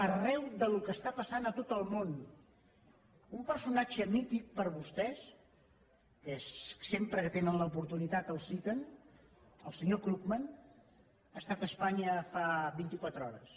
arran del que està passant a tot el món un personatge mític per vostès que sempre que en tenen l’oportunitat el citen el senyor krugman ha estat a espanya fa vint i quatre hores